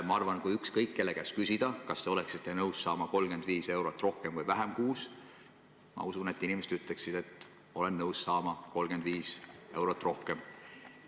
Ma arvan, et kui küsida ükskõik kelle käest, kas ta oleks nõus saama kuus 35 eurot rohkem, siis ma usun, et inimesed ütleksid, et jah, nad oleksid nõus saama 35 eurot rohkem.